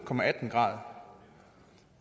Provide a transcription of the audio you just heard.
grader